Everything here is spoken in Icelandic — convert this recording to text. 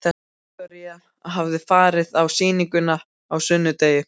Viktoría hafði farið á sýninguna á sunnudegi.